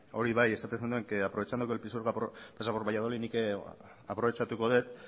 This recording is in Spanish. hori bai esaten zenuen que aprovechando que el pisuerga pasa por valladolid nik ere aprobetxatuko dut